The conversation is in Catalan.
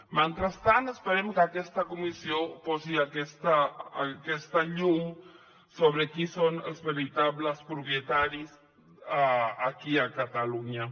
mentrestant esperem que aquesta comissió posi aquesta llum sobre qui són els veritables propietaris aquí a catalunya